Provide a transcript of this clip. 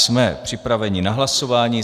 Jsme připraveni na hlasování.